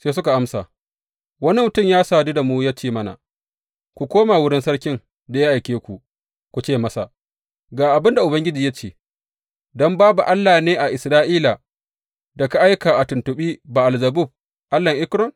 Sai suka amsa, Wani mutum ya sadu da mu ya ce mana, Ku koma wurin sarkin da ya aike ku, ku ce masa, Ga abin da Ubangiji ya ce, don babu Allah ne a Isra’ila da ka aika a tuntuɓi Ba’al Zebub allahn Ekron?